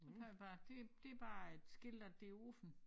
Så tager jeg bare det det bare et skilt at det åbent